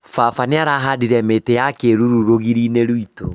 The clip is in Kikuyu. Baba nĩarahandire mĩtĩ ya kĩruru rũgiri-inĩ rwitũ